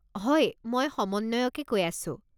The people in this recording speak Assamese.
হয় মই সমন্বয়কে কৈ আছোঁ।